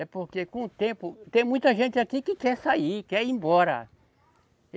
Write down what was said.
É porque com o tempo... Tem muita gente aqui que quer sair, quer ir embora.